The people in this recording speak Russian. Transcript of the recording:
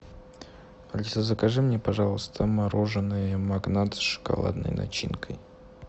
алиса закажи мне пожалуйста мороженое магнат с шоколадной начинкой